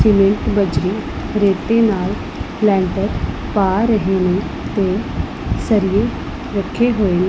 Cement ਬੱਜਰੀ ਰੇਤੇ ਨਾਲ ਲੈਂਟਰ ਪਾ ਰਹੇ ਨੇ ਤੇ ਸਰੀਏ ਰੱਖੇ ਹੋਏ ਨੇ।